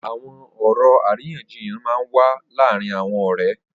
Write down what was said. Awọn ọrọ àrínyànjíyàn mà n wà làárin awọn ọrẹ